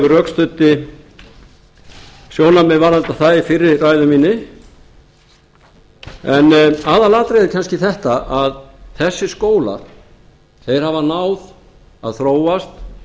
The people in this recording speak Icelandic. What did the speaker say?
ég rökstuddi sjónarmið varðandi það í fyrri ræðu minni en aðalatriðið er kannski þetta að þessir skólar þeir hafa náð að þróast